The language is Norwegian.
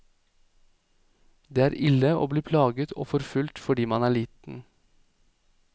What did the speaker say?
Det er ille å bli plaget og forfulgt fordi man er liten.